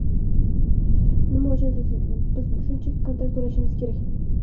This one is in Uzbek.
Nima uchun biz shuncha kontrakt to‘lashimiz kerak?